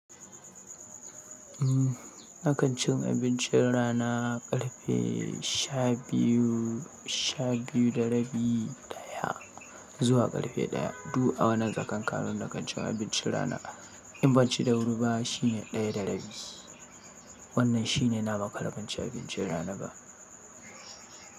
Umm, na kan ci abincin rana ƙarfe sha biyu, sha biyu da rabi, daya zuwa ƙarfe daya. Duk a wannan tsakanin ƙarin na kanci abincin rana. In banci da wuri ba shine ɗaya da rabi. Wannan shine na maƙara banci abincin rana ba.